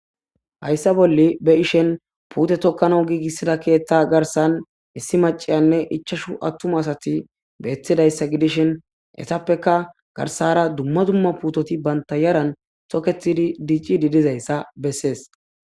hayssa bolle be ishen puute tokkana giigissida keetta garsan issi maciyanne ichashu attuma asati beettidayssa gidishin esappeka garsara dumma dumma puutoti banta yaran soketi diiccidi dizayssa bessees